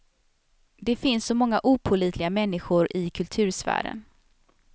Det finns så många opålitliga människor i kultursfären.